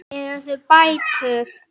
Eru það bætur?